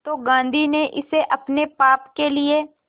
तो गांधी ने इसे अपने पाप के लिए